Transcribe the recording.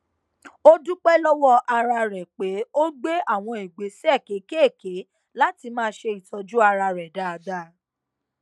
ó dúpẹ lọwọ ara rẹ pé ó gbé àwọn ìgbésẹ kéékèèké láti máa ṣe ìtọjú ara rẹ dáadáa